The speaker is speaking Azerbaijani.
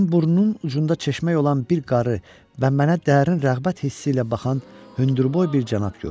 Mən burnunun ucunda çeşmək olan bir qarı və mənə dərin rəğbət hissi ilə baxan hündürboy bir cənab gördüm.